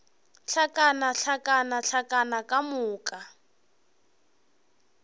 hlakana hlakana hlakana ka moka